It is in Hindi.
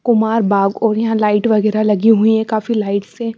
कुमार बाग और यहाँ लाइट वगैरह लगी हुई है काफी लाइट्स से --